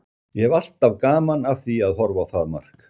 Ég hef alltaf gaman af því að horfa á það mark.